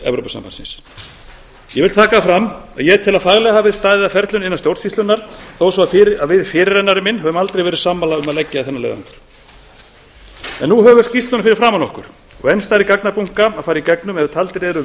evrópusambandsins ég vil taka fram að ég tel að faglega hafi verið staðið að ferlinu innan stjórnsýslunnar þótt við fyrirrennari minn höfum aldrei verið sammála um að leggja í þennan leiðangur nú höfum við skýrsluna fyrir framan okkur og enn stærri gagnabunka að fara í gegnum ef taldir eru